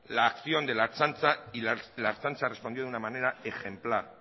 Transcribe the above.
la acción de la ertzaintza y la ertzaintza respondió de una manera ejemplar